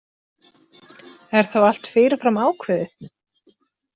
Er þá allt fyrirfram ákveðið?